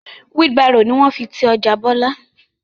Wheel Barrow ni wọ́n fi ti ọjà bọlá